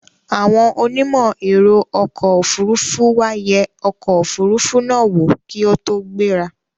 Àwọn onímọ̀ ẹ̀ro ọkò òfurufú wá yẹ ọkò òfurufú náà wò kí ó tó gbẹ́ra.